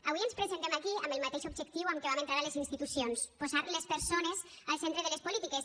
avui ens presentem aquí amb el mateix objectiu amb què vam entrar a les institucions posar les persones al centre de les polítiques